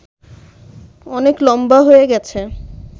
অনেক লম্বা হয়ে গেছে